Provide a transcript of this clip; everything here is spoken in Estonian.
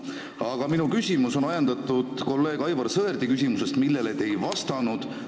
Aga minu küsimus on ajendatud kolleeg Aivar Sõerdi küsimusest, millele te ei vastanud.